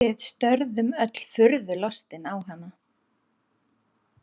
Við störðum öll furðu lostin á hana.